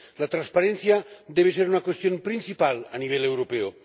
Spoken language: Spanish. La transparencia debe ser una cuestión principal a nivel europeo.